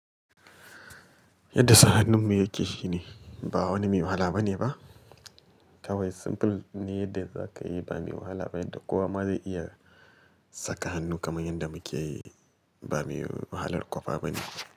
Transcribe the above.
Yadda sa hannun mu yake shine ba wani me wahala bane ba. Kawai simple ne yadda za ka yi ba me wahala ba yadda kowa ma zai iya saka hannu kamar yadda muke yi ba me wahalar ƙwafa bane.